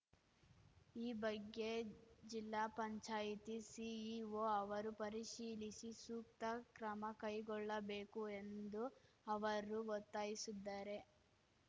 ಈ ಬಗ್ಗೆ ಜಿಲ್ಲಾ ಪಂಚಾಯತಿ ಸಿಇಒ ಅವರು ಪರಿಶೀಲಿಸಿ ಸೂಕ್ತ ಕ್ರಮಕೈಗೊಳ್ಳಬೇಕು ಎಂದು ಅವರು ಒತ್ತಾಯಿಸಿದ್ದಾರೆ